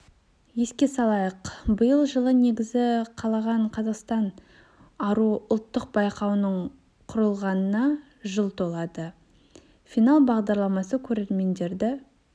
еске салайық биыл жылы негізі қаланған қазақстан аруы ұлттық байқауының құрылғанына жыл толады финал бағдарламасы көрермендерді